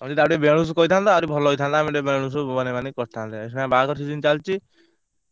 ତମେ ଯଦି ଆଉ ଟୋକେ ବେଣୁଶ କହିଥାନ୍ତ ଆହୁରି ଭଲ ହେଇଥାନ୍ତା ଆମେ ଟିକେ ବେଣୁଶ ବନେଇ ବାନେଇ କରିଥାନ୍ତେ ଏଇଖିଣା ବାହାଘର season ଚାଲିଛି